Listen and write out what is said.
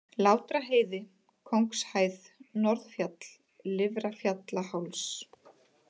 Látraheiði, Kóngshæð, Norðfjall, Lifrarfjallaháls